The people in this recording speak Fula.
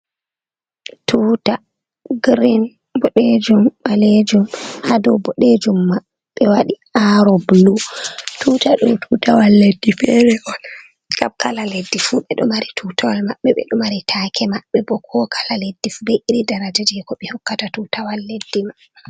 Tuta girin, boɗejum, ɓalejum, haa dow boɗejum map ɓe waɗi aro bulu. Tutaɗo tutawal leddi feere on, kala leddi fu ɓe ɗo mari tutawal maɓɓe, ɓe ɗo mari taake maɓɓe bo, ko kala leddi fu be iri dara jee ko ɓe hokkata tutawal leddi maɓɓe.